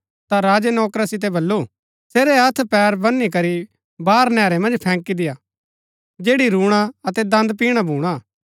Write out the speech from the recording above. ता राजै नौकरा सितै बल्लू सेरै हत्थ पैर बन्‍नी करी बाहर नैहरै मन्ज फैंकी देय्आ जैड़ी रूणा अतै दन्द पिणा भूणा